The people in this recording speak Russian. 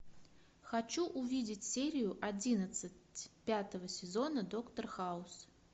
хочу увидеть серию одиннадцать пятого сезона доктор хаус